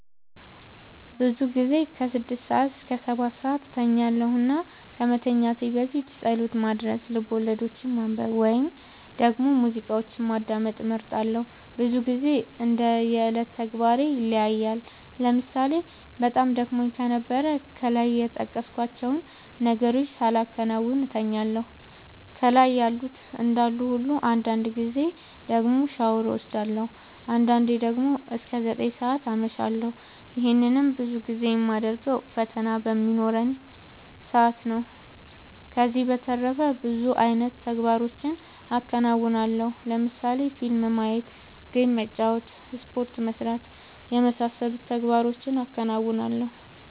ብዙ ጊዜ ስድስት እስከ ሰባትሰዓት እተኛለሁ እና ከመተኛት በፊት ፀሎት ማድረስ፣ ልቦለዶችን ማንበብ ወይም ደግሞ ሙዚቃዎችን ማዳመጥ እመርጣለሁ። ብዙ ግዜ እንደ የዕለት ተግባሬ ይለያያል ለምሳሌ በጣም ደክሞኝ ከነበረ ከላይ የጠቀስኳቸውን ነገሮች ሳላከናውን እተኛለሁ ከላይ ያሉት እንዳሉ ሁሉ አንዳንድ ጊዜ ደግሞ ሻወር ወስዳለሁ። አንዳንዴ ደግሞ እስከ ዘጠኝ ሰዓት አመሻለሁ ይህንንም ብዙ ጊዜ የማደርገው ፈተና በሚኖረኝ ሰአት ነው። ከዚህ በተረፈ ብዙ አይነት ተግባሮችን አከናወናለሁ ለምሳሌ ፊልም ማየት ጌም መጫወት ስፖርት መስራት የመሳሰሉት ተግባሮቹን አከናውናለሁ።